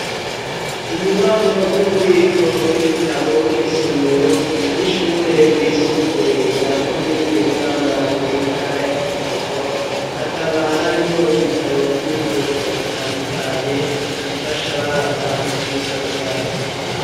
Inyubako ry'ububiko bw'ibitabo n'isomero ry'ishure ryisumbuye rya komine Bwambarangwe intara ya Kirundo hakaba harimwo ibitabo vy'ubwoko bitandukanye bifasha abana mu vyigwa vyabo.